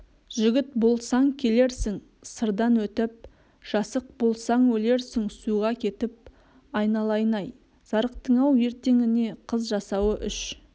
жігіт болсаң келерсің сырдан өтіп жасық болсаң өлерсің суға кетіп айналайын-ай зарықтың-ау ертеңіне қыз жасауы үш